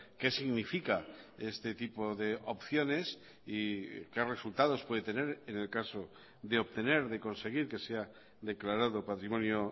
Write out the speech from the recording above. qué significa este tipo de opciones y qué resultados puede tener en el caso de obtener de conseguir que sea declarado patrimonio